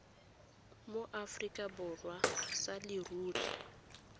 mo aforika borwa sa leruri